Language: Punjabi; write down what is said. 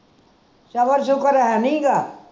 ਸਬਰ ਸ਼ੁਕਰ ਹੈਨੀ ਗਾ